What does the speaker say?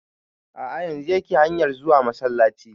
A'a yanzun yake hanyar zuwa masallaci